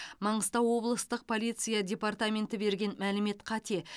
маңғыстау облыстық полиция департаменті берген мәлімет қате